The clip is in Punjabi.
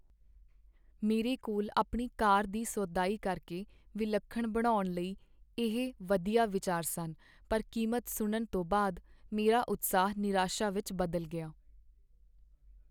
ਮੇਰੇ ਕੋਲ ਆਪਣੀ ਕਾਰ ਦੀ ਸੋਧਾਈ ਕਰਕੇ ਵਿਲੱਖਣ ਬਣਾਉਣ ਲਈ ਇਹ ਵਧੀਆ ਵਿਚਾਰ ਸਨ, ਪਰ ਕੀਮਤ ਸੁਣਨ ਤੋਂ ਬਾਅਦ, ਮੇਰਾ ਉਤਸ਼ਾਹ ਨਿਰਾਸ਼ਾ ਵਿੱਚ ਬਦਲ ਗਿਆ..